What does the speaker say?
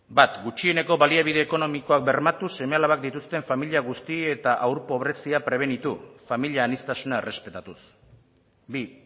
bat gutxieneko baliabide ekonomikoak bermatuz seme alabak dituzten familia guzti eta haur pobrezia prebenitu familia aniztasuna errespetatuz bi